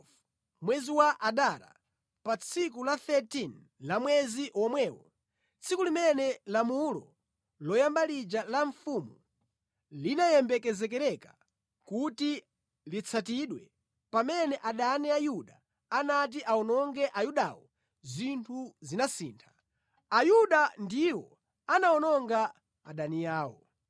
Pa mwezi wa 12, mwezi wa Adara pa tsiku la 13 la mwezi womwewo, tsiku limene lamulo loyamba lija la mfumu linayembekezereka kuti litsatidwe, pamene adani a Ayuda anati awononge Ayudawo, zinthu zinasintha. Ayuda ndiwo anawononga adani awo.